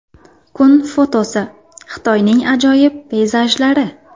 Kun fotosi: Xitoyning ajoyib peyzajlari.